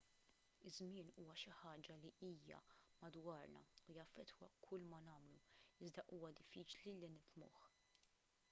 iż-żmien huwa xi ħaġa li hija madwarna u jaffettwa kull ma nagħmlu iżda huwa diffiċli li nifhmuh